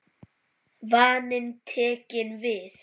Vaninn tekinn við.